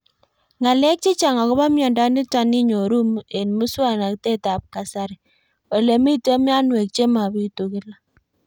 Ng'alek chechang' akopo miondo nitok inyoru eng' muswog'natet ab kasari ole mito mianwek che mapitu kila